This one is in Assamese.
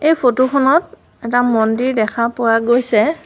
এই ফটোখনত এটা মন্দিৰ দেখা পোৱা গৈছে।